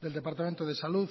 del departamento de salud